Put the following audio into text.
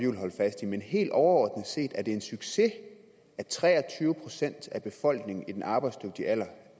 vil holde fast i men helt overordnet set er det en succes at tre og tyve procent af befolkningen i den arbejdsdygtige alder